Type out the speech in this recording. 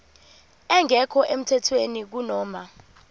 engekho emthethweni kunoma